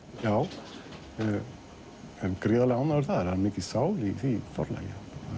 já ég er gríðarlega ánægður þar það er mikil sál í því forlagi